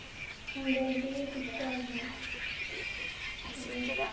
handwritting এর কিছু কাজ হয়